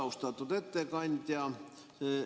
Austatud ettekandja!